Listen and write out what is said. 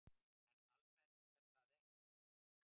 En almennt er það ekki.